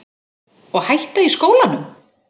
Og hætta í skólanum?